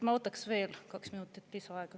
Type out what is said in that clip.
Ma võtaks veel kaks minutit lisaaega.